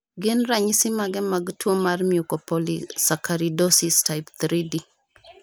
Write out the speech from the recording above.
Gin ranyisi mage mag tuo mar Mucopolysaccharidosis type IIID?